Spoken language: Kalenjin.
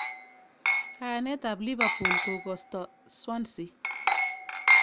Kayanet tab Liverpool kokosto Swansea.